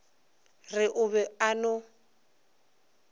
re o be a no